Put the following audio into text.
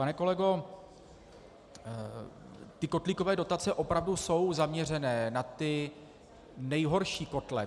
Pane kolego, ty kotlíkové dotace opravdu jsou zaměřené na ty nejhorší kotle.